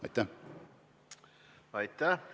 Aitäh!